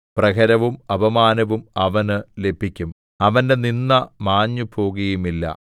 പ്രഹരവും അപമാനവും അവനു ലഭിക്കും അവന്റെ നിന്ദ മാഞ്ഞുപോകുകയുമില്ല